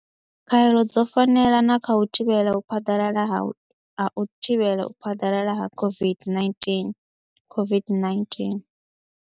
Khaelo dzo fanela na kha u thivhela u phaḓalala ha u thivhela u phaḓalala ha COVID-19, COVID-19.